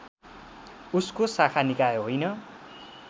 उसको शाखा निकाय होइन